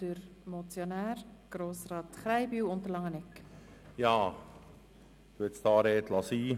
DerMotionär, Grossrat Krähenbühl, wünscht nochmals das Wort.